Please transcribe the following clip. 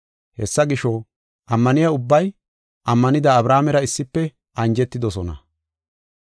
Hessa gisho, ammaniya ubbay ammanida Abrahaamera issife anjetidosona.